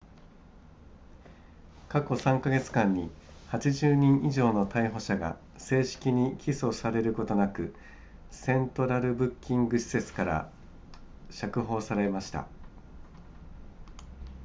過去3カ月間に80人以上の逮捕者が正式に起訴されることなくセントラルブッキング施設から釈放されました